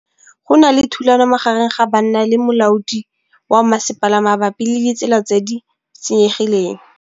Go na le thulanô magareng ga banna le molaodi wa masepala mabapi le ditsela tse di senyegileng.